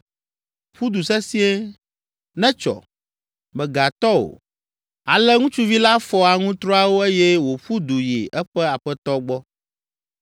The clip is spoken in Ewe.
Ƒu du sesĩe; netsɔ! Mègatɔ o!” Ale ŋutsuvi la fɔ aŋutrɔawo eye wòƒu du yi eƒe aƒetɔ gbɔ.